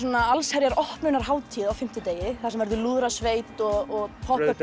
allsherjar opnunarhátíð á fimmtudegi þar sem verður lúðrasveit og